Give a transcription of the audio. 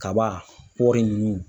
Kaba kɔri ninnu.